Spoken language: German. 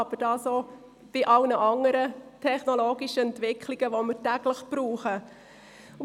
Das trifft aber auch auf alle anderen technologischen Entwicklungen zu, die wir täglich nutzen.